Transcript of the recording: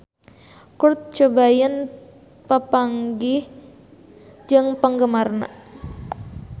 Kurt Cobain papanggih jeung penggemarna